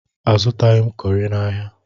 Azụtaghi m kọrị n'ahia.